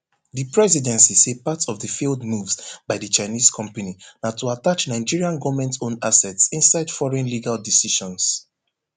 di presidency say part of di failed moves by di chinese company na to attach nigerian govmentowned assets inside foreign legal decisions